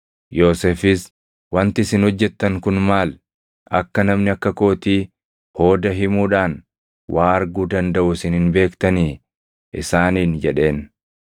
Yoosefis, “Wanti isin hojjettan kun maal? Akka namni akka kootii hooda himuudhaan waa arguu dandaʼu isin hin beektanii?” isaaniin jedheen.